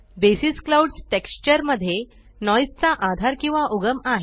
buses clouds texture मध्ये नॉइसचा आधार किंवा उगम आहे